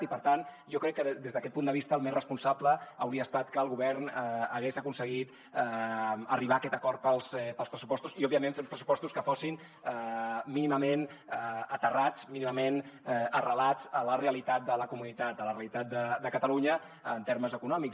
i per tant jo crec que des d’aquest punt de vista el més responsable hauria estat que el govern hagués aconseguit arribar a aquest acord pels pressupostos i òbviament fer uns pressupostos que fossin mínimament aterrats mínimament arrelats a la realitat de la comunitat a la realitat de catalunya en termes econòmics